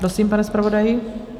Prosím, pane zpravodaji.